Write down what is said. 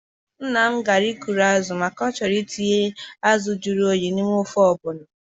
Nnam gara ịkụ azụ maka na ọ choghi itinye azụ juru oyi n'ime ofe ọgbọno